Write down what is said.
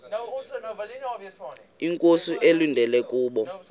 inkosi ekulindele kubo